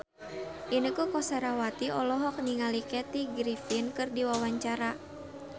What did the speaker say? Inneke Koesherawati olohok ningali Kathy Griffin keur diwawancara